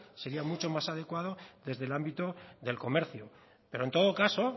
sería mucho más adecuado desde el ámbito del comercio pero en todo caso